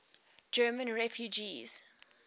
german refugees